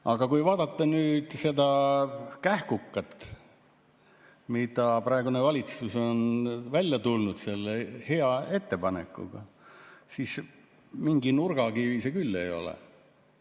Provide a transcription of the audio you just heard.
Aga kui vaadata nüüd seda kähkukat, millega praegune valitsus on välja tulnud, selle hea ettepanekuga, siis mingi nurgakivi see küll ei ole.